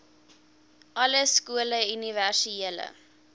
alle skole universele